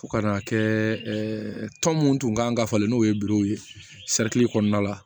Fo ka n'a kɛ tɔn minnu tun ka falen n'o ye ye kɔnɔna la